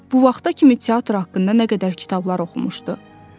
Bu vaxta kimi teatr haqqında nə qədər kitablar oxumuşdu.